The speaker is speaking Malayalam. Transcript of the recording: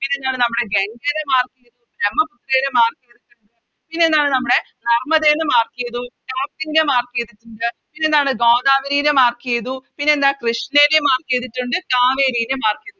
ഗംഗെനെ Mark ചെയ്തിട്ടുണ്ട്ബ്രമ്മപുത്രേനെ Mark ചെയ്തിട്ടുണ്ട് പിന്നെ എന്താണ് നമ്മുടെ നർമ്മദേനെ Mark ചെയ്തു താപ്തിനെ Mark ചെയ്തിട്ടുണ്ട് പിന്നെ എന്താണ് ഗോദാവരിനെ Mark ചെയ്തു കൃഷ്ണേനെ Mark ചെയ്തിട്ടുണ്ട് കാവേരിനേം Mark ചെയ്തിട്ടുണ്ട്